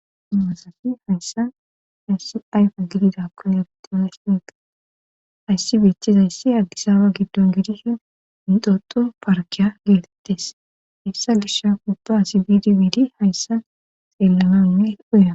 hayssan ayssi ayfe gididakkon egetiza shineqa hayssi beechchizayssi aggisaawa giddon gidishin intoto parkiya geetettes hessa gisha kubba asi bidibidi hayssa xeellanainne uyaa